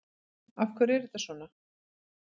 Af hverju er þetta svona?